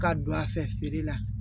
Ka don a fɛ feere la